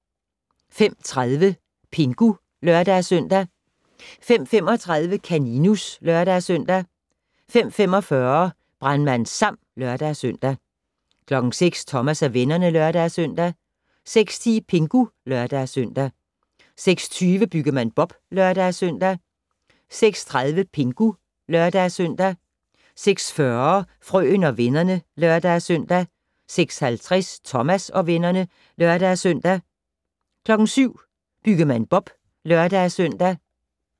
05:30: Pingu (lør-søn) 05:35: Kaninus (lør-søn) 05:45: Brandmand Sam (lør-søn) 06:00: Thomas og vennerne (lør-søn) 06:10: Pingu (lør-søn) 06:20: Byggemand Bob (lør-søn) 06:30: Pingu (lør-søn) 06:40: Frøen og vennerne (lør-søn) 06:50: Thomas og vennerne (lør-søn) 07:00: Byggemand Bob (lør-søn)